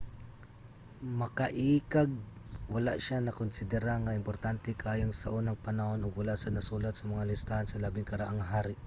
makaiikag wala siya nakonsidera nga importante kaayo saunang panahon ug wala sad nasulat sa mga listahan sa labing karaang hari